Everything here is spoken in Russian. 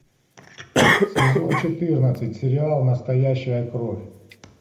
сезон четырнадцать сериал настоящая кровь